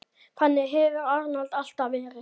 Þannig hefur Arnold alltaf verið.